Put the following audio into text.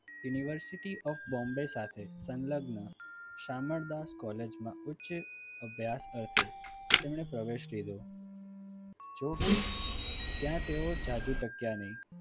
university of Bombay સાથે સંલગ્ન Shamaldas college માં ઉચ્ચ અભ્યાસ અર્થે તેમને પ્રવેશ લીધો જોકે ત્યાં તેઓ જાજુ ટક્યા નહીં.